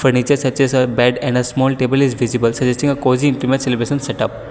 furniture such as a bat and small table is visible suggesting a cozy intimate setup.